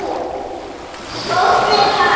Skórnir hans.